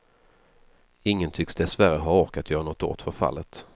Ingen tycks dessvärre ha ork att göra något åt förfallet.